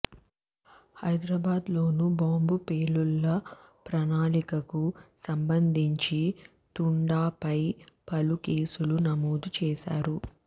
హైదరాబాద్లోనూ bomb పేలుళ్ల ప్రణాళికకు సంబంధించి తుండాపై పలు కేసులు నమోదు చేసారు